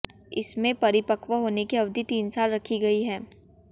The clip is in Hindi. इसमें परिपक्व होने की अवधि तीन साल रखी गई है